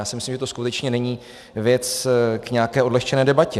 Já si myslím, že to skutečně není věc k nějaké odlehčené debatě.